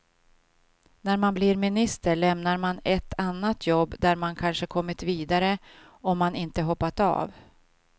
När man blir minister lämnar man ett annat jobb där man kanske kommit vidare om man inte hoppat av.